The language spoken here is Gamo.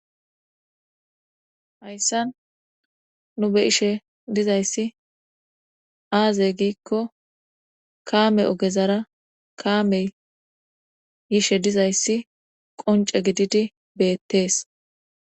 hayssan nu be ishe dizayssi aazey giikko kaame ogezara kaamey yishe dizayssi qonce gididi beettees